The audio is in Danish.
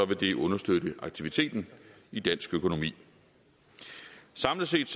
det understøtte aktiviteten i dansk økonomi samlet set